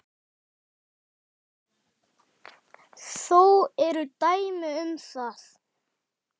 Þó eru dæmi um það.